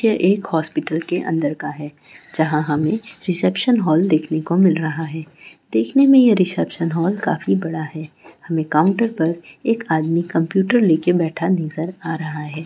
के एक हॉस्पिटल के अंदर का है जहाँ हमें रिसेप्शन हॉल देखने को मिल रहा है। देखने में ये रिसेप्शन हॉल काफी बड़ा है हमें काउंटर पर एक आदमी कंप्यूटर लेके बैठा नज़र आ रहा है।